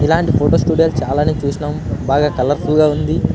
ఇది చుడానికి అందంగా ఉంది.